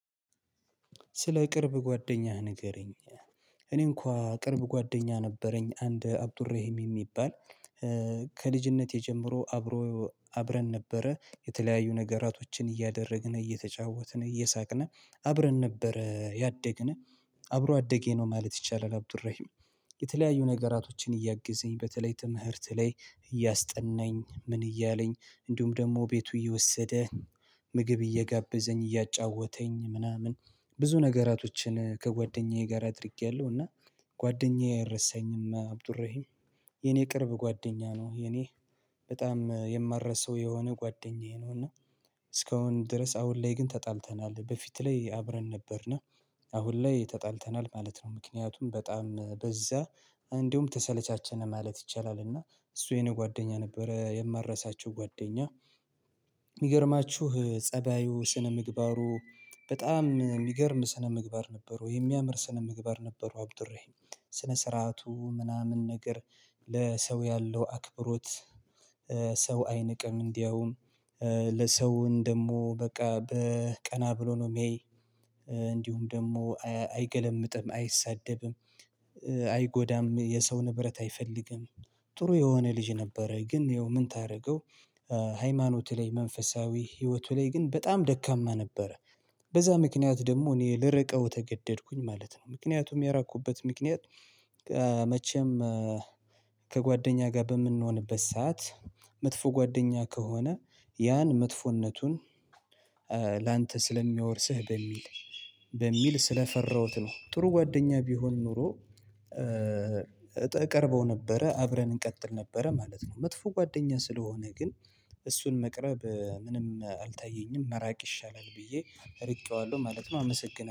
ስለ ቅርብ ጓደኛህ ንገረኝ ይላል እኔ እንኳን ቅርብ ጓደኛ ነበረኝ አንድ አብዱረሂም የሚባል ከልጅነቴ ጀምሮ አብሮ አብረን ነበረ የተለያዩ ነገራቶችን እያደረግን እየተጫወትን እየሳቅን አብረን ነበር ያደግን አብሮ አደጌ ነው ማለት ይቻላል። አብዱረሂም የተለያዩ ነገራቶችን እያግዘኝ በተለይ ትምህርት ላይ እያስጠናኝ ምን እያለኝ እንዲሁም ደግሞ ቤቱ እየወሰደ ምግብ እየጋበዘኝ እያጫወተኝ ምናምን ብዙ ነገራቶችን ከጓደኛዬ ጋር አድርጌያለሁ። እና ጓደኛዬ አይረሳኝም። አብዱራሂም የኔ ቅርብ ጓደኛ ነው። የኔ በጣም የማረሳው የሆነ ጓደኛዬ ነው። እና እስካሁን ድረስ አሁን ላይ ግን ተጣልተናል በፊት ላይ አብረን ነበር ና አሁን ላይ ተጣልተናል ማለት ነው። ምክንያቱም በጣም በዛ እንዲሁም ተሰለቻቸነ ማለት ይቻላል። እና እሱ የኔ ጓደኛ ነበረ የማረሳቸው ጓደኛ። የሚገርማችሁ ፀባዩ ስነ ምግባሩ በጣም ሚገርም ስነ ምግባር ነበረው የሚያምር ስነ ምግባር ነበረው አብዱራሂም ስነ ስርዓቱ ምናምን ነገር ለሰው ያለው አክብሮት። ሰው አይንቅም እንዲያውም ለሰው እንደሞ በቃ በቀና ብሎ ነው ሚያይ። እንዲሁም ደግሞ አይገለምጥም አይሳደብም። አይጎዳም የሰው ንብረት አይፈልግም። ጥሩ የሆነ ልጅ ነበረ ግን ይኸው ምን ታረገው? ሃይማኖት ላይ መንፈሳዊ ህይወቱ ላይ ግን በጣም ደካማ ነበረ። በዛ ምክንያት ደግሞ እኔ ልርቀው ተገደድኩኝ ማለት ነው። ምክንያቱም የራኩበት ምክንያት መቼም ከጓደኛ ጋር በምንሆንበት ሰዓት መጥፎ ጓደኛ ከሆነ ያን መጥፎነቱን ላንተ ስለሚያወርስህ በሚል በሚል ስለፈራሁት ነው። ጥሩ ጓደኛ ቢሆን ኖሮ እቀርበው ነበረ አብረን እንቀጥል ነበረ ማለት ነው። መጥፎ ጓደኛ ስለሆነ ግን እሱን መቅረብ ምንም አልታየኝም መራቅ ይሻላል ብዬ እርቄዋለሁ ማለት ነው። አመሰግናለሁ